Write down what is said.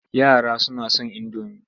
Yara suna son indomi.